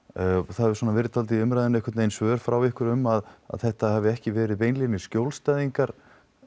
það hefur verið svolítið í umræðunni einhvern veginn svör frá ykkur um að þetta hafi ekki verið beinlínis skjólstæðingar